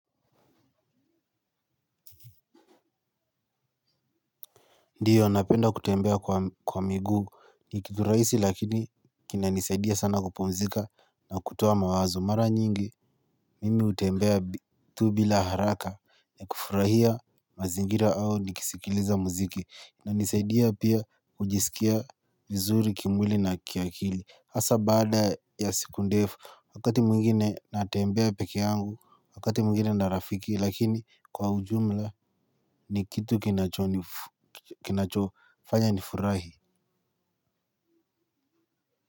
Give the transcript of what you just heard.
Ndiyo napenda kutembea kwa miguu ni kitu rahisi lakini kina nisaidia sana kupumzika na kutoa mawazo mara nyingi. Mimi hutembea tu bila haraka na kufurahia mazingira au nikisikiliza muziki. Inisaidia pia kujiskia vizuri kimwili na kiakili hasa baada ya siku ndefu wakati mwingine natembea peke yangu wakati mwingine na rafiki lakini kwa ujumla ni kitu kinachofanya nifurahi.